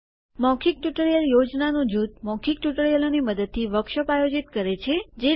મૌખિક ટ્યુટોરીયલ યોજનાનું જૂથ મૌખિક ટ્યુટોરિયલોની મદદથી વર્કશોપ આયોજિત કરે છે